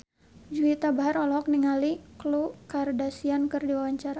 Juwita Bahar olohok ningali Khloe Kardashian keur diwawancara